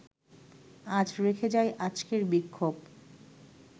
আজ রেখে যাই আজকের বিক্ষোভ